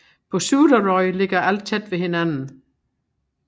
På Suðuroy ligger alt tæt ved hinanden